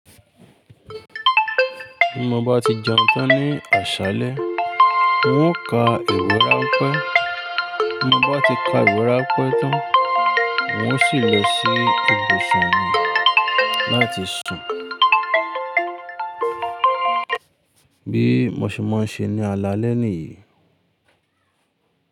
Bí mo bá ti jẹun tán ní àṣálẹ́, n ó ka ìwé ráńpẹ́, tí mo bá ti ka ìwé ráńpẹ́ tán, n ó sì lọ sí ibùsùn mi láti sùn, bí mo ṣe máa ń ṣe ní alalẹ́ ní yìí.